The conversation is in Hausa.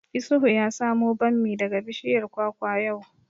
Isuhu ya samo bammi daga bishiyar kwakwa yau